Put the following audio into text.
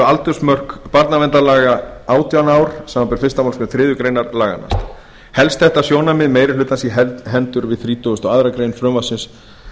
aldursmörk barnaverndarlaga átján ár samanber fyrstu málsgrein þriðju grein laganna helst þetta sjónarmið meiri hlutans í hendur við þrítugustu og aðra grein frumvarpsins